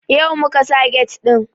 Yau muka sa get ɗin